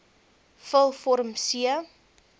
vul vorm c